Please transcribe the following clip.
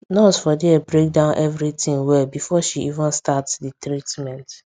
nurse for there break down everything well before she even start the treatment